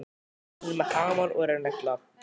Hún er með hamar og er að negla.